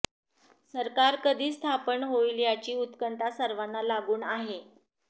सरकार कधी स्थापन होईल यांची उत्कंठा सर्वांना लागून आहे